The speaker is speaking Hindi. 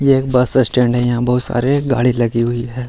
यह एक बस स्टैंड है। यहाँ बहुत सारे गाड़ी लगी हुई है।